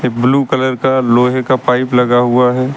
Blue colour का लोहे का पाइप लगा हुआ है।